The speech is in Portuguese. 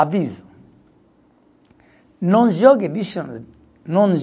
Aviso. Não jogue lixo no, não